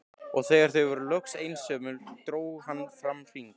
Og þegar þau voru loks einsömul dró hann fram hring.